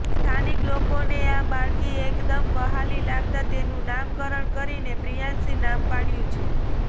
સ્થાનિક લોકોને આ બાળકી એકદમ વહાલી લાગતાં તેનું નામકરણ કરીને પ્રિયાંશી નામ પાડ્યું છે